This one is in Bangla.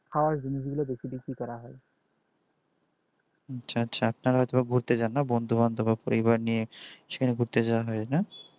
আচ্ছা আচ্ছা আপনারা তো ঘুরতে জাননা বন্ধু বান্ধব পরিবার নিয়ে একসঙ্গে ঘুরতে যান না